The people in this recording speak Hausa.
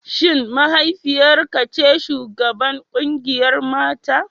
Shin mahaifiyar ka ce shugabar kungiyar mata?